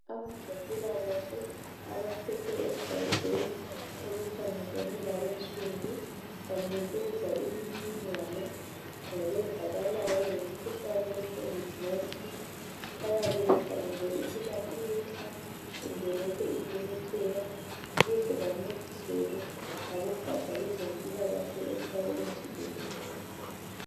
Abezempilakahle abaphethe egajeni olukhangelane labensundu banikeza imniningwane ngokwenzakalayo ngemkhuhlane ye COVID19. Bayabebekhangele ukuba iyehla kumbe lokhe imemetheka. Ukuze bancediseke ngabogaja lwezempilakahle emhlabeni jikelele.